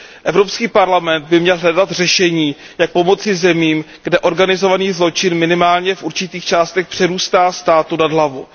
Evropský parlament by měl hledat řešení, jak pomoci zemím, kde organizovaný zločin minimálně v určitých částech přerůstá státu přes hlavu.